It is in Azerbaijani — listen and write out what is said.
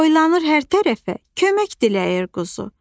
Boylanır hər tərəfə, kömək diləyir quzu.